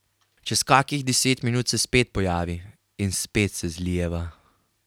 Čez kakih deset minut se spet pojavi in spet se zlijeva.